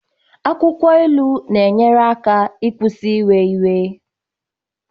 akwukwo ilu na-enyere aka ịkwụsị iwe iwe